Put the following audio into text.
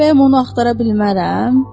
Bəyəm onu axtara bilmərəm?